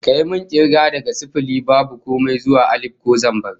Kayi min kirga daga sifili (babu komai) zuwa alif (ko zambar)